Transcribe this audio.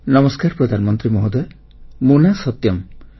ନମସ୍କାର ପ୍ରଧାନମନ୍ତ୍ରୀ ମହୋଦୟ ମୋ ନାଁ ସତ୍ୟମ୍